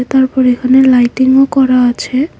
তারপর এখানে লাইটিংও করা আছে।